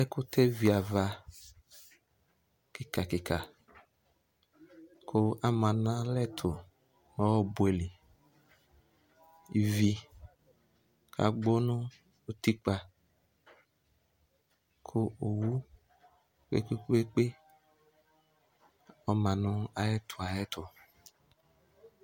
Ɛkʋtɛ viava kika kika kʋ ama nʋ alɛ ɛtʋ nʋ ɔbuɛli Ivi agbɔ nʋ ʋtikpa kʋ owu kpekpeekpe ɔma nʋ ayɛtʋ ayɛtʋ